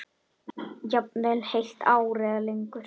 Jafnvel heilt ár eða lengur.